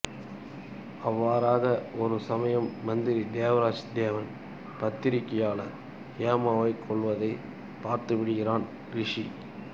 அவ்வாறாக ஒரு சமயம் மந்திரி தேவராஜ் தேவன் பத்திரிக்கையாளர் ஹேமாவை கொல்வதை பார்த்துவிடுகிறான் ரிஷி